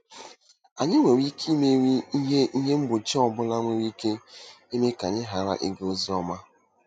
Anyị nwere ike imeri ihe ihe mgbochi ọ bụla nwere ike ime ka anyị ghara ịga ozi ọma